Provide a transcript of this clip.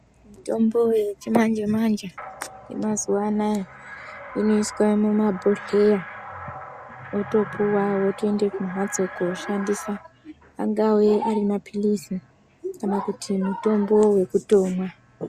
Mitombo yechi manje manje ye mazuva anaya inoiswa mu mabhohleya otopuwa votoende ku mhatso koshandisa angave ari mapilizi kana kuti mutombo wekutomwa.